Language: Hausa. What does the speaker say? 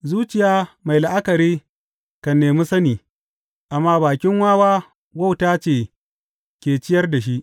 Zuciya mai la’akari kan nemi sani, amma bakin wawa wauta ce ke ciyar da shi.